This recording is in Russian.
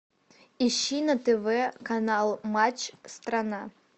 ищи на тв канал матч страна